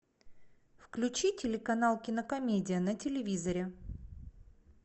включи телеканал кинокомедия на телевизоре